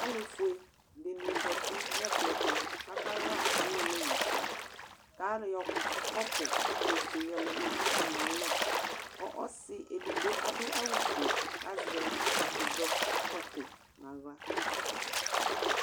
Alʋfue dini zati nʋ ɛkplɔ ɛtʋ, kʋ akaxa ʋwolowʋsɛ, kʋ ayɔ kɔpu ofue yɔlɛ nʋ atami alɔ, ɔsi edigbo adʋ awʋfue, kʋ azɛ ɛzɔkpako nʋ aɣla.